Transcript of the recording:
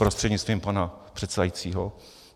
Prostřednictvím pana předsedajícího.